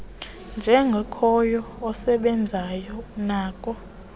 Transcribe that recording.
njengokhoyo nosebenzayo unako